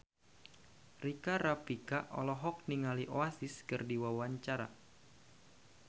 Rika Rafika olohok ningali Oasis keur diwawancara